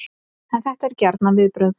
En þetta eru gjarnan viðbrögð